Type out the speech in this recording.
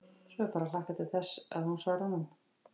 Svo er bara að hlakka til þess að hún svari honum.